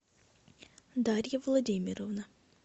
дарья владимировна